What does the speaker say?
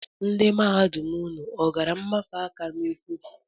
Ndị mahadum unu ọ gara mfanye aka n'ụkwụ?